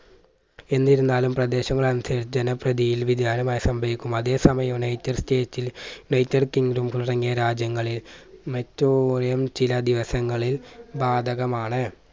എന്നിരുന്നാലും പ്രാദേശങ്ങൾ അനുസരിച്ച് ജനപ്രധിയിൽ വ്യതിയാനമയം സംഭവിക്കും. അതേ സമയം യുനൈറ്റഡ് സ്റ്റേറ്റ്സിൽ യുനൈറ്റഡ് കിങ്ഡം തുടങ്ങിയ രാജ്യങ്ങളിൽ മെറ്റോലിയം ചില ദിവസങ്ങളിൽ ബാധകമാണ്.